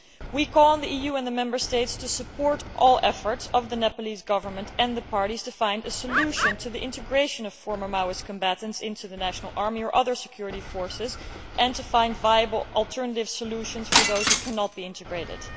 We call on the EU and the Member States to support all the efforts of the Nepalese Government and the parties to find a solution to the integration of former Maoist combatants into the national army or other security forces and to find viable alternative solutions for those who cannot be integrated.